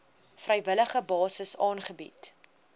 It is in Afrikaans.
vrywillige basis aangebied